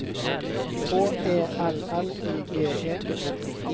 H E L L I G E